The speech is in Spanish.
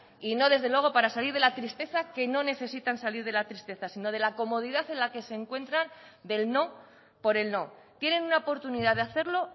y no desde luego para salir de la tristeza que no necesitan salir de la tristeza sino de la comodidad en la que se encuentran del no por el no tienen una oportunidad de hacerlo